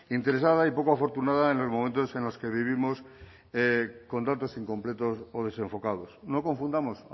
interesada y poco afortunada en los momentos en los que vivimos contratos incompletos o desenfocados no confundamos